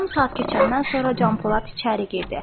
Yarım saat keçəndən sonra Canpolad içəri girdi.